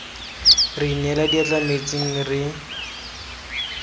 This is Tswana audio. re inela diatla metsing re